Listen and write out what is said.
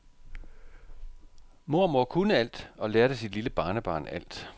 Mormor kunne alt og lærte sit lille barnebarn alt.